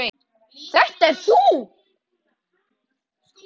Þetta ert þú!